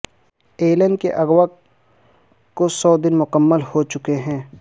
Alan کے اغوا کو سو دن مکمل ہو چکے ہیں